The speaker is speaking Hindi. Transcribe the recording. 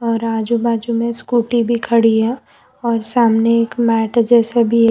और आजू बाजू में स्कूटी भी खड़ी है और सामने एक मैंट जैसा भी--